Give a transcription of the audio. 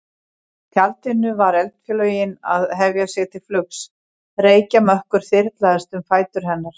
tjaldinu var eldflaugin að hefja sig til flugs, reykjarmökkur þyrlaðist um fætur hennar.